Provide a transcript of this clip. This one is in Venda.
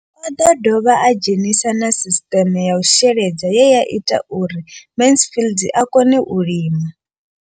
O ḓo dovha a dzhenisa na sisiṱeme ya u sheledza ye ya ita uri Mansfied a kone u lima.